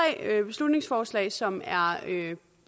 beslutningsforslag som er